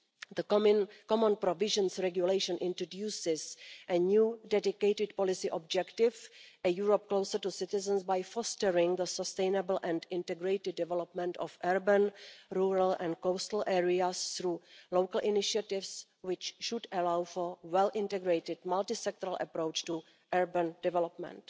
The Common Provisions Regulation introduces a new dedicated policy objective a Europe closer to citizens by fostering the sustainable and integrated development of urban, rural and coastal areas through local initiatives, which should allow for a well integrated, multi sectoral approach to urban development.